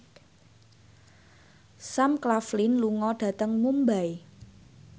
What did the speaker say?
Sam Claflin lunga dhateng Mumbai